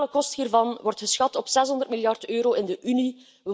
De totale kosten hiervan worden geschat op 600 miljard euro in de Unie.